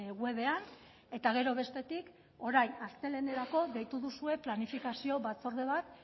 webean eta gero bestetik orain astelehenerako deitu duzue planifikazio batzorde bat